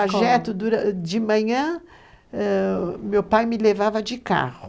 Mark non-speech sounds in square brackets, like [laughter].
[unintelligible] O trajeto de manhã, meu pai me levava de carro.